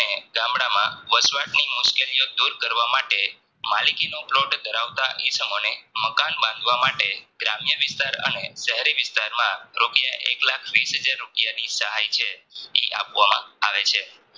વસવાટની મુશ્કેલી ઓ દૂર કરવા માટે માલિકીનો plot ધરાવતા ઈસમોને મકાન બાંધવા માટે ગ્રામ્ય વિસ્તાર અને શેહરી વિસ્તારમાં રૂપિયા એકલાખ વિષ હાજર રૂપિયાની સહાય છે ઈ આપવામાં આવે છે